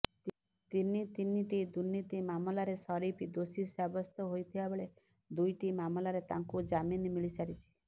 ତିନି ତିନିଟି ଦୁର୍ନୀତି ମାମଲାରେ ସରିଫ ଦୋଷୀ ସାବ୍ୟସ୍ତ ହୋଇଥିବା ବେଳେ ଦୁଇଟି ମାମଲାରେ ତାଙ୍କୁ ଜାମିନ ମିଳିସାରିଛି